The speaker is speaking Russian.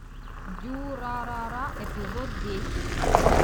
дюрарара эпизод десять